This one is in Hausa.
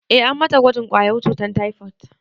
Eh, an mata gwajin ƙwayar cutar taifot